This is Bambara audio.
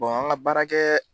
an ka baara kɛ